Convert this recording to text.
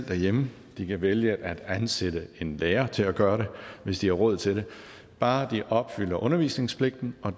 derhjemme de kan vælge at ansætte en lærer til at gøre det hvis de har råd til det bare de opfylder undervisningspligten og